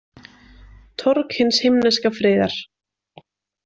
Torg hins himneska friðar